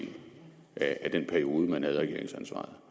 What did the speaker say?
af den periode hvor man havde regeringsansvaret